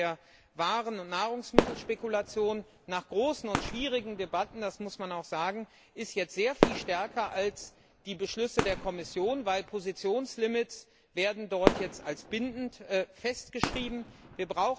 Im Bereich der Waren und Nahrungsmittelspekulation ist er jetzt nach großen und schwierigen Debatten das muss man auch sagen sehr viel stärker als die Beschlüsse der Kommission, weil Positionslimits jetzt als bindend festgeschrieben werden.